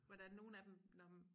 Hvordan nogen af dem når men